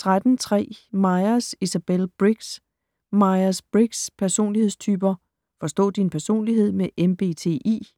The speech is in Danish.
13.3 Myers, Isabel Briggs: Myers-Briggs' personlighedstyper: forstå din personlighed med MBTI